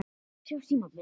Þannig var Ketill.